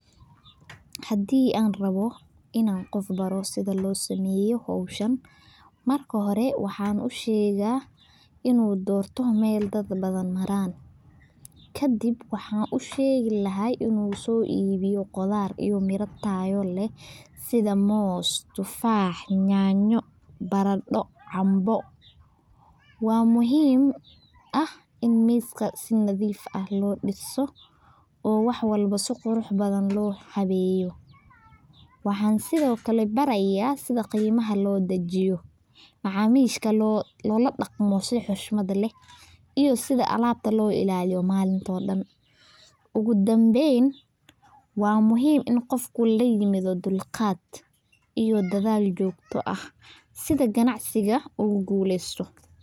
Hadii an rawo in an baro qof sitha lo sameyo howshan, marka hore waxaan u shega in u dorto meel dad badan maran, kadiin waxan u shegi lahay in u soibiyo qudhaar iyo miro tayo leh sitha mos, tufax, nyanyo, barado, canbo, waa muhiim ah in miska si nadhiif ah lo diso oo wax walbo si qurux badan lo habeyo, waxan sithokale baraya sitha qima lo dajiyo macamishka loladaqmo si xoshmaad leh, iyo sitha alabta lo ilaliyo malintadha, ogu danben waa muhiim In u qofka laimadho dulqaad iyo dadhal jogto ah sitha ganacsiga ogu gulesto.